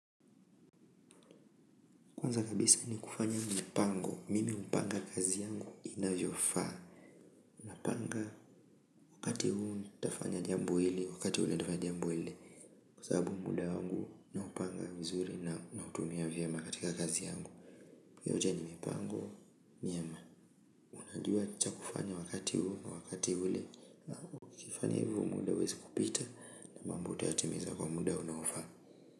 Kwanza kabisa ni kufanya mipango, mimi hupanga kazi yangu inavyofaa. Napanga wakati huu nitafanya jambo hili, wakati ule nitafanya jambo ile. Kwa sababu muda wangu naupanga vizuri na nautumia vyema katika kazi yangu hiyo yote ni mipango, miema. Unajua cha kufanya wakati huu na wakati ule na ukifanya hivyo muda huwezi kupita na mambo utayatimiza kwa muda unaofaa.